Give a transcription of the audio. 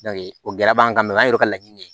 o gɛlɛya b'an kan mɛ o y'an yɛrɛ ka laɲini ye